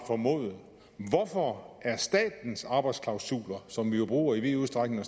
formode hvorfor er statens arbejdsklausuler som vi jo bruger i vid udstrækning